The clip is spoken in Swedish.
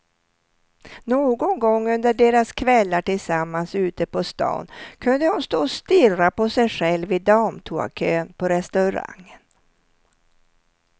Någon gång under deras kvällar tillsammans ute på stan kunde hon stå och stirra på sig själv i damtoakön på restaurangen.